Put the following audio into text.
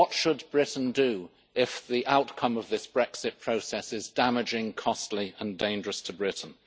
What should Britain do if the outcome of this Brexit process is damaging, costly and dangerous to Britain?